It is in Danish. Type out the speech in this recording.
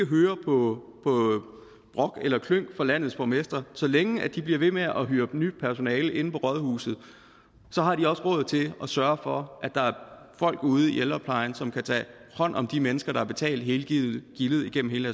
høre på brok eller klynk fra landets borgmestre så længe de bliver ved med at hyre nyt personale inde på rådhuset så har de også råd til at sørge for at der er folk ud i ældreplejen som kan tage hånd om de mennesker der har betalt hele gildet gildet gennem hele